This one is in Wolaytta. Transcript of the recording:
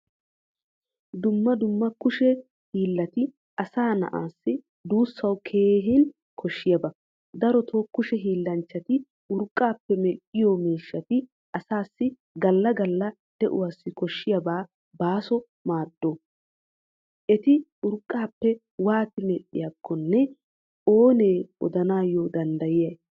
Dumma dumma kushe hiilatti asa na"aa dussawu keehin koshshiyaba. Darotto kushe hillanchchatti urqqappe medhdhiyo miishshatti asaasi galla galla de'uwawu koshshiyaa baaso maado. Etti urqqappe waati medhdhiyakkone oonee odanayo danddayiyay?